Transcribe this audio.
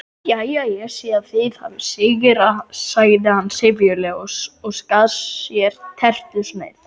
Jæja, ég sé að þið hafið sigrað sagði hann syfjulega og skar sér tertusneið.